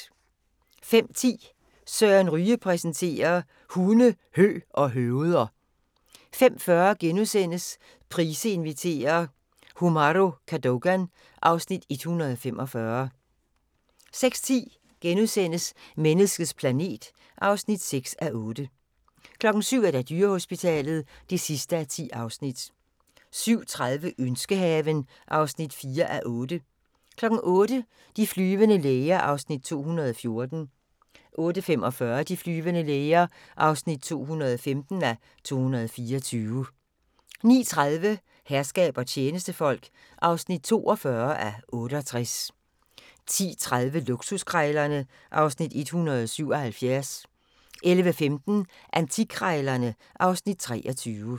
05:10: Søren Ryge præsenterer: Hunde, hø og høveder 05:40: Price inviterer - Umahro Cadogan (Afs. 145)* 06:10: Menneskets planet (6:8)* 07:00: Dyrehospitalet (10:10) 07:30: Ønskehaven (4:8) 08:00: De flyvende læger (214:224) 08:45: De flyvende læger (215:224) 09:30: Herskab og tjenestefolk (42:68) 10:30: Luksuskrejlerne (Afs. 177) 11:15: Antikkrejlerne (Afs. 23)